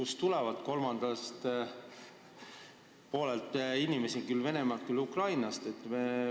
Sinna tuleb inimesi küll Venemaalt, küll Ukrainast.